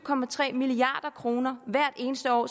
milliard kroner hvert eneste år